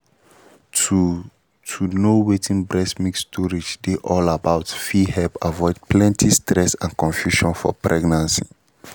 to to know wetin breast milk storage dey all about fit help avoid plenty stress and confusion for pregnancy